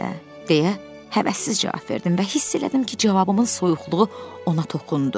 Belə də, deyə həvəssizcə cavab verdim və hiss elədim ki, cavabımın soyuqluğu ona toxundu.